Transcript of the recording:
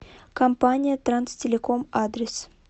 компания транстелеком адрес